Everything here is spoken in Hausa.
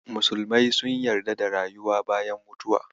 Musulmai sun yarda da rayuwa bayan mutuwa.